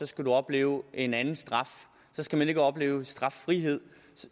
skal man opleve en anden straf så skal man ikke opleve straffrihed